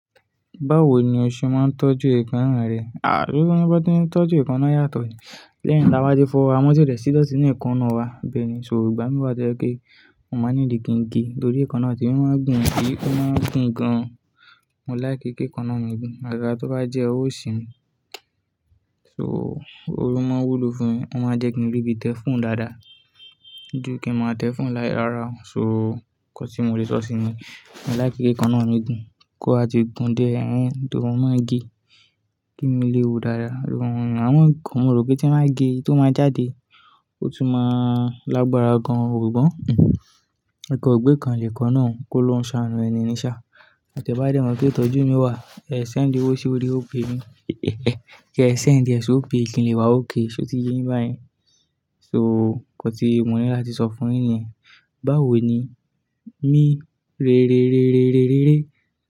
Báwo ni o ṣe máa ń tọ́jú èékánná rẹ? À, se won ni, bi won ti ń tọ́jú èékánná yàtọ̀ ni. Lẹ́yìn tabá tí fọ́wo wa mo ti o dẹ̀ sí dọ́ọ̀tìn ní èékánná wa. Bẹ́ẹ̀ ni oo, ìgbà mí wá to jẹ́ pe, o máa nìdí kíǹ ge, nitórí èékánná temi ó máa ń gùn, é ó máa gùn gan. Mo like kí èékánná mi gùn, àgagáá tó bá jẹ́ òwó osì mi. So, o máa ń wú lo fún mi, ó máa jẹ́ kí n rí bíi tẹ́ fonnu dàada. Jú kí máa tẹ́ fonnu lai So, nǹkan tí mo lè sọ sí ni, mo like kí èékánná mi gùn tó ba ti gùn dié, ẹ́n nitorí mo máa ń gé. Kí imi lè wù dáada, mo rò pé tí wọ́n bá gé, tó máa jáde, ó tún máa lágbára gan nnkan o gbekàn nikan ná, kó'lọrun ṣàánú ẹni ni ṣá. Tẹbá dẹ́mọ̀ pe ìtọ́jú mi wà, ẹ̀ ṣẹ̀ńdi owó sorí Opay mí. Kẹ́ ṣẹ̀ńdi ẹ̀ ṣi Opay kìn le wa okay, ṣé o ti yé yin báyen? So, nǹkan tí mo ní láti sọ fúnyin ni yen, báwo ni rere, rere, rere, rere.